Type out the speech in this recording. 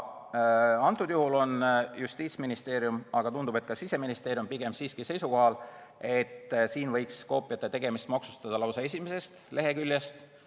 Antud juhul on Justiitsministeerium – tundub, et ka Siseministeerium – pigem siiski seisukohal, et koopiate tegemist võiks maksustada lausa esimesest leheküljest.